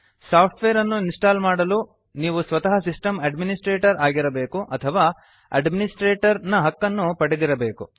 software ಅನ್ನು install ಮಾಡಲು ನೀವು ಸ್ವತಃ ಸಿಸ್ಟಮ್ ಅಡ್ಮಿನಿಸ್ಟ್ರೇಟರ್ ಆಗಿರಬೇಕು ಅಥವಾ ಅಡ್ಮಿನಿಸ್ಟ್ರೇಟರ್ ನ ಹಕ್ಕನ್ನು ಪಡೆದಿರಬೇಕು